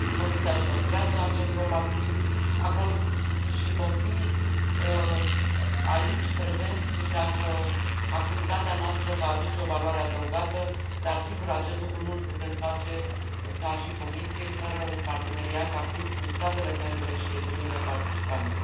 Comisia își păstrează acest rol activ și vom fi aici prezenți dacă activitatea noastră va aduce o valoare adăugată, dar, sigur, acest lucru nu l putem face ca și Comisie fără un parteneriat activ cu statele membre și regiunile participante.